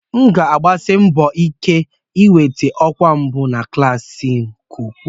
M ga-agbasi mbọ ike ka m nweta ọkwa mbụ na klas m n'okwu a.